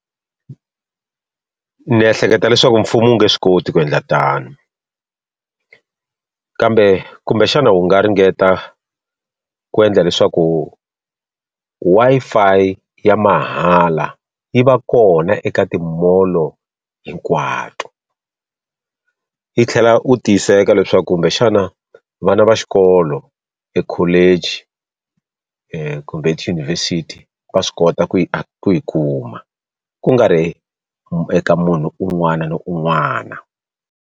Ndzi ehleketa leswaku mfumo wu nga swi koti ku endla tano. Kambe kumbexana wu nga ringeta ku endla leswaku Wi-Fi ya mahala yi va kona eka ti-mall-o hinkwato. Yi tlhela u tiyiseka leswaku kumbexana vana va xikolo ekholeji kumbe etiyunivhesiti va swi kota ku yi ku yi kuma, ku nga ri eka munhu un'wana na un'wana.